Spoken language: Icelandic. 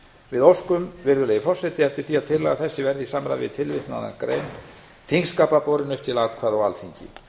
við óskum virðulegi forseti eftir því að tillaga þessi verði í samræmi við tilvitnaða greina þingskapa borin upp til atkvæða á alþingi